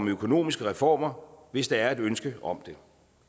økonomiske reformer hvis der er et ønske om det